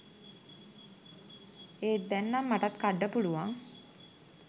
එත් දැන් නම් මටත් කඩ්ඩ පුළුවන්